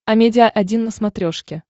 амедиа один на смотрешке